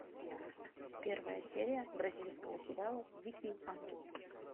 первая серия бразильского сериала дикий ангел